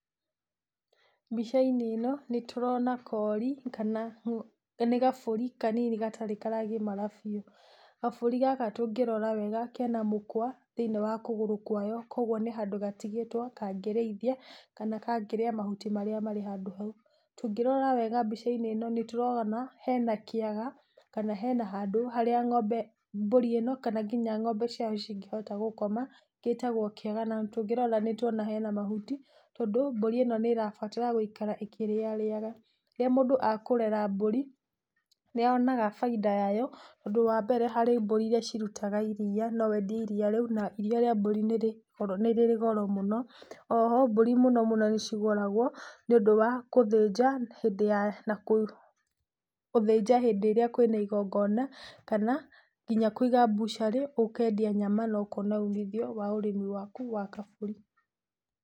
Mbica- inĩ ino nĩtũrona kori, kana nĩ kabũri kanini gatarĩ karagimara biũ. Kabũri gaka tũngĩrora wega kena mũkũa, thĩinĩ wa kũgũrũ gwako, koguo nĩ handũ gatigĩtwo kangĩriithia, kana kangĩrĩa mahuti marĩa marĩ handũ hau. Tũngĩrora wega handũ hau hena kĩaga kana hena handũ, harĩa mbũri ĩno kana nginya ng'ombe ciao cingĩhota gũkoma, gĩtagwo kĩaga. Na tũngĩrora wega nĩ tũrona hena mahuti,t ondũ mbũri ĩno nĩ ĩrabatara gũikara ĩkĩrĩarĩaga, rĩrĩa mũndũ akũrera mbũri, nĩ onaga bainda yayo, tondũ wa mbere harĩ mbũri iria irũtaga iria, na iria rĩa mbũri nĩ rĩrĩ goro mũno. Oho mbũri mũno nĩ cigũragwo nĩ ũndũ nĩ ũndũ wa gũthĩnja hĩndĩ ĩrĩa kũrĩ na ĩgongona, kana nginya Kũiga butchery ũkendia nyama na ũkona umithio wa ũrimi waku wa kabũri.